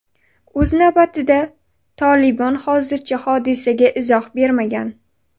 O‘z navbatida, Tolibon hozircha hodisaga izoh bermagan.